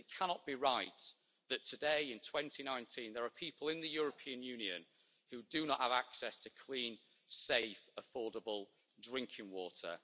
It cannot be right that today, in 2019, there are people in the European Union who do not have access to clean, safe, affordable drinking water.